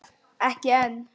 Ekki enn.